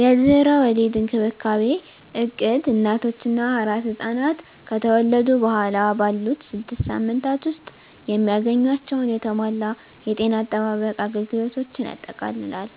የድህረ ወሊድ እንክብካቤ እቅድ እናቶች እና አራስ ሕፃናት ከተወለዱ በኋላ ባሉት ስድስት ሳምንታት ውስጥ የሚያገኟቸውን የተሟላ የጤና አጠባበቅ አገልግሎቶችን ያጠቃልላል።